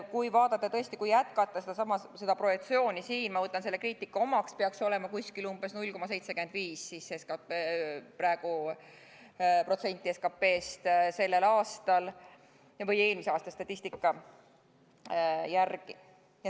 Kui jätkata siin sedasama projektsiooni, ma võtan selle kriitika omaks, peaks see olema umbes 0,75% SKT-st sellel aastal, õigemini eelmise aasta statistika järgi.